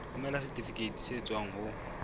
romela setifikeiti se tswang ho